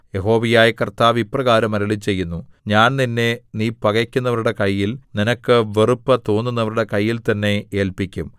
യഹോവയായ കർത്താവ് ഇപ്രകാരം അരുളിച്ചെയ്യുന്നു ഞാൻ നിന്നെ നീ പകയ്ക്കുന്നവരുടെ കയ്യിൽ നിനക്ക് വെറുപ്പു തോന്നുന്നവരുടെ കയ്യിൽ തന്നെ ഏല്പിക്കും